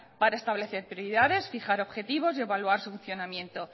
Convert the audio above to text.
para establecer prioridades fijar objetivos y evaluar su funcionamiento